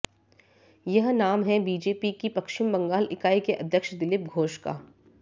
यह नाम है बीजेपी की पश्चिम बंगाल इकाई के अध्यक्ष दिलीप घोष का